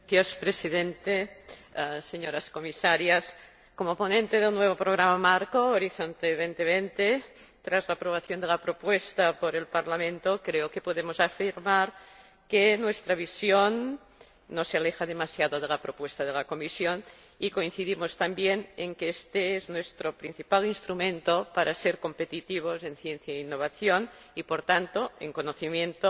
Señor Presidente, señoras Comisarias, como ponente del nuevo programa marco Horizonte 2020, tras la aprobación de la propuesta por el Parlamento, creo que podemos afirmar que nuestra visión no se aleja demasiado de la propuesta de la Comisión, y coincidimos también en que este es nuestro principal instrumento para ser competitivos en ciencia e innovación y, por tanto, en conocimiento,